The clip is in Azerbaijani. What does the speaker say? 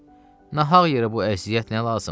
Ay bala, nahaq yerə bu əziyyət nə lazımdır?